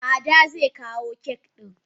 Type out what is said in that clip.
Ada ze kawo cake din.